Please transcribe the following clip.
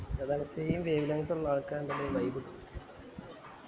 അതാണ് same wavelength ഉള്ള ആള്ക്കാര് ഇണ്ടെങ്കിലെ vibe കിട്ടു